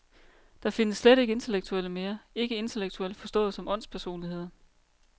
Der findes slet ikke intellektuelle mere, ikke intellektuelle forstået som åndspersonligheder.